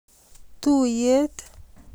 Tuiyet.